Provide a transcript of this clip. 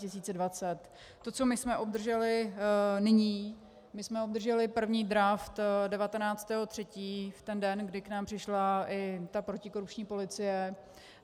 To, co my jsme obdrželi nyní, my jsme obdrželi první draft 19. 3., v ten den, kdy k nám přišla i ta protikorupční policie.